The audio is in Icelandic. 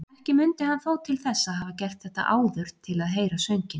Ekki mundi hann þó til þess að hafa gert þetta áður til að heyra sönginn.